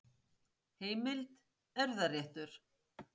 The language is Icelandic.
Heimild: Erfðaréttur.